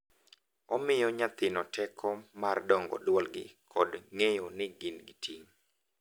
Omiyo nyathino teko mar dongo dwolgi kod ng’eyo ni gin gi ting’.